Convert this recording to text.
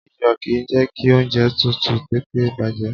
Iyò kìí jẹ́ ki oúnjẹ tútù tètè bàjẹ́